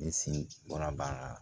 Ne sin bɔra baara la